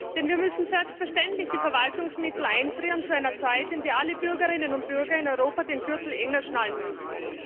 Denn wir müssen selbstverständlich die Verwaltungsmittel einfrieren zu einer Zeit, in der alle Bürgerinnen und Bürger in Europa den Gürtel enger schnallen müssen.